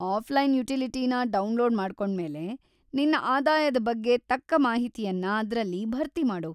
Offline ಯುಟಿಲಿಟಿನ download ಮಾಡ್ಕೊಂಡ್ಮೇಲೆ, ನಿನ್ನ ಆದಾಯದ ಬಗ್ಗೆ ತಕ್ಕ ಮಾಹಿತಿಯನ್ನ ಅದ್ರಲ್ಲಿ ಭರ್ತಿ ಮಾಡು.